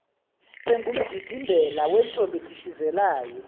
engumdidimbela wentombi edishizelayo